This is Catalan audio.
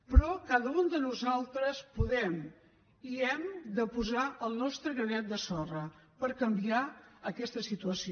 però cada un de nosaltres podem i hem de posar el nostre granet de sorra per canviar aquesta situació